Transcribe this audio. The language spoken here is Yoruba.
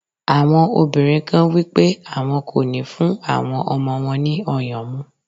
Àwọn obìnrin kan wípé àwọn kò ní fún àwọn ọmọ wọn ní ọyàn mu.